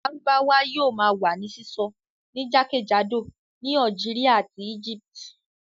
Lárúbáwá yóò ma wà ní sísọ ní jákèjádò ní Algeria àti Egypt